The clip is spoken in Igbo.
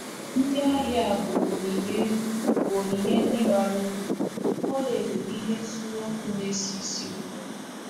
Ndị ahịa a bu onyinye bu onyinye ndị bara uru, “ ọlaedo na ihe nsure ọkụ na-esi ísì ụtọ. ”